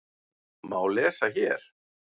má lesa hér.